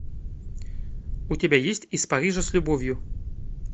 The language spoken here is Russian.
у тебя есть из парижа с любовью